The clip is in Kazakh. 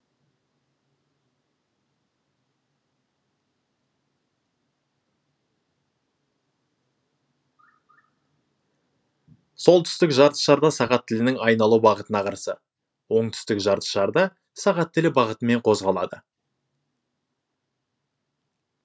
солтүстік жарты шарда сағат тілінің айналу бағытына қарсы оңтүстік жарты шарда сағат тілі бағытымен қозғалады